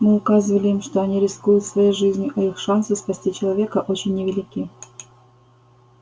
мы указывали им что они рискуют своей жизнью и их шансы спасти человека очень невелики